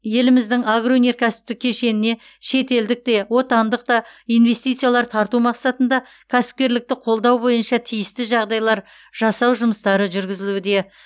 еліміздің агроөнеркәсіптік кешеніне шетелдік те отандық та инвестициялар тарту мақсатында кәсіпкерлікті қолдау бойынша тиісті жағдайлар жасау жұмыстары жүргізілуде